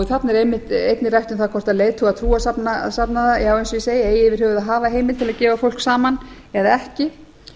þarna er einnig rætt um að hvort leiðtogar trúarsafnaða eigi yfir höfuð að hafa heimild til að gefa fólk saman eða ekki